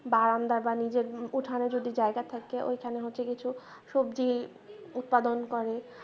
বারন্দা বা নিজের উঠানে যদি জায়গা থাকে ওইখানে হচ্ছে কিছু সবজি উৎপাদন করে